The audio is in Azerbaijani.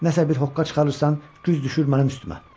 Nəsə bir hoqqa çıxarırsan, güz düşür mənim üstümə.